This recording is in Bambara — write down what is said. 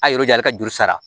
A ye yɔrɔ jan ale ka juru sara